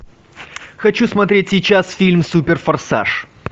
хочу смотреть сейчас фильм супер форсаж